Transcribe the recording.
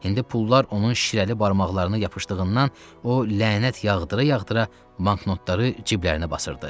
İndi pullar onun şirəli barmaqlarını yapışdığından o lənət yağdıra-yağdıra banknotları ciblərinə basırdı.